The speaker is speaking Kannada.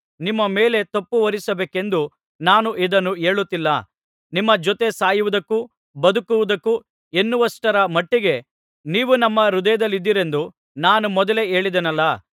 ನಿಮ್ಮ ಮೇಲೆ ತಪ್ಪುಹೊರಿಸಬೇಕೆಂದು ನಾನು ಇದನ್ನು ಹೇಳುತ್ತಿಲ್ಲ ನಿಮ್ಮ ಜೊತೆ ಸಾಯುವುದಕ್ಕೂ ಬದುಕುವುದಕ್ಕೂ ಎನ್ನುವಷ್ಟರ ಮಟ್ಟಿಗೆ ನೀವು ನಮ್ಮ ಹೃದಯದಲ್ಲಿದ್ದೀರೆಂದು ನಾನು ಮೊದಲೇ ಹೇಳಿದ್ದೆನಲ್ಲಾ